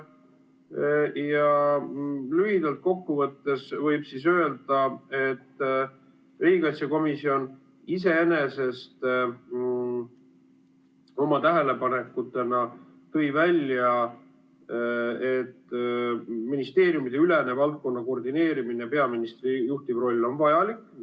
Lühidalt kokku võttes võib öelda, et riigikaitsekomisjon tõi oma tähelepanekutena välja, et ministeeriumideülene valdkonna koordineerimine, peaministri juhtiv roll on vajalik.